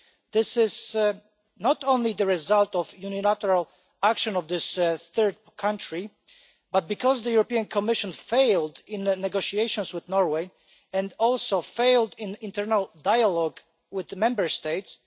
This is not only the result of the unilateral action of this third country but also because the European Commission failed in the negotiations with Norway and also failed in internal dialogue with the Member States.